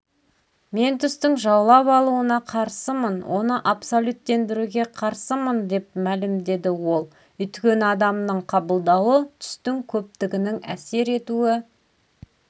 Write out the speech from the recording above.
мен түстің жаулап алуына қарсымын оны абсолюттендіруге қарсымын деп мәлімдеді ол өйткені адамның қабылдауы түстің көптігінің әсер етуі